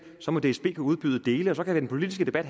så må dsb kunne udbyde dele og så kan den politiske debat